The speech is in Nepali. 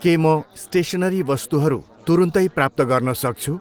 के म स्टेसनरी वस्तुहरू तुरुन्तै प्राप्त गर्न सक्छु?